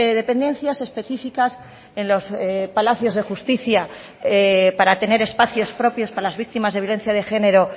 dependencias específicas en los palacios de justicia para tener espacios propios para las víctimas de violencia de género